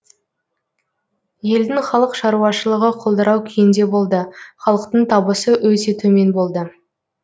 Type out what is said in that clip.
елдің халық шаруашылығы құлдырау күйінде болды халықтың табысы өте төмен болды